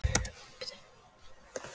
Var þessi sigur að létta pressu af Willum?